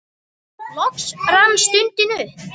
Loks rann stundin upp.